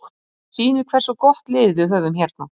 Hér er fjallað í léttari dúr um spurninguna, á ensku.